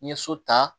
N ye so ta